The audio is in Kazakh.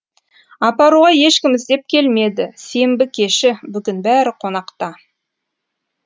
апаруға ешкім іздеп келмеді сенбі кеші бүгін бәрі қонақта